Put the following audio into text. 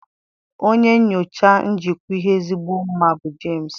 Onye nyocha njikwa ihe ezigbo mma bụ James.